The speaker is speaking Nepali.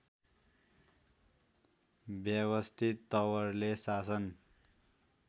व्यवस्थित तवरले शासन